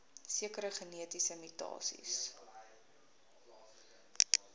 sekere genetiese mutasies